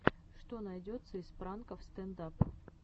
что найдется из пранков стэнд ап